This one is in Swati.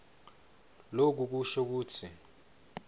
loku kusho kutsi